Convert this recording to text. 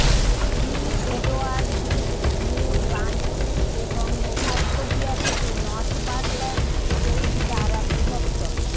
Prince Edward দ্বীপ New Brunswick এবং Nova Scotia থেকে নর্থবারল্যান্ড স্ট্রেইট দ্বারা বিভক্ত